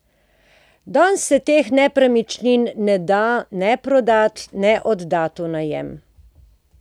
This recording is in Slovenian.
Danes se teh nepremičnin ne da ne prodati ne oddati v najem.